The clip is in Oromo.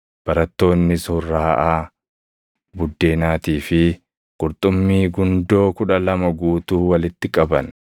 barattoonnis hurraaʼaa buddeenaatii fi qurxummii gundoo kudha lama guutuu walitti qaban.